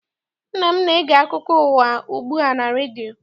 Nna m na-ege akụko ụwa ugbu a na redio.